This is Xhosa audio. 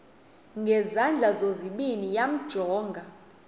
ngezandla zozibini yamjonga